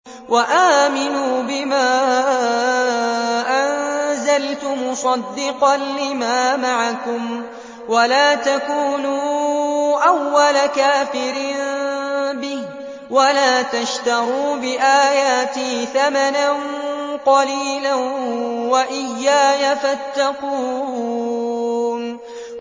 وَآمِنُوا بِمَا أَنزَلْتُ مُصَدِّقًا لِّمَا مَعَكُمْ وَلَا تَكُونُوا أَوَّلَ كَافِرٍ بِهِ ۖ وَلَا تَشْتَرُوا بِآيَاتِي ثَمَنًا قَلِيلًا وَإِيَّايَ فَاتَّقُونِ